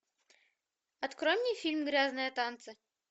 открой мне фильм грязные танцы